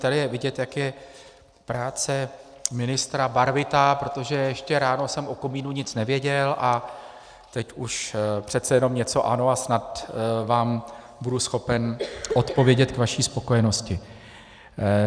Tady je vidět, jak je práce ministra barvitá, protože ještě ráno jsem o komínu nic nevěděl a teď už přece jenom něco ano a snad vám budu schopen odpovědět k vaší spokojenosti.